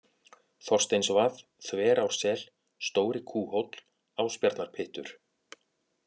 Þorsteinsvað, Þverársel, Stóri-Kúhóll, Ásbjarnarpyttur